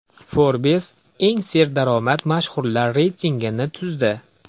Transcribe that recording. Forbes eng serdaromad mashhurlar reytingini tuzdi.